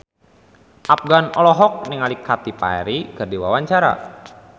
Afgan olohok ningali Katy Perry keur diwawancara